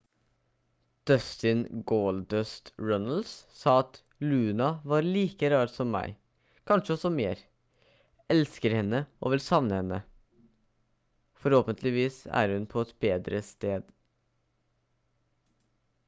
dustin «goldust» runnels sa at «luna var like rar som meg...kanskje også mer...elsker henne og vil savne henne...forhåpentligvis er hun på et bedre sted»